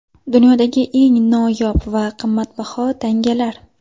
Dunyodagi eng noyob va qimmatbaho tangalar.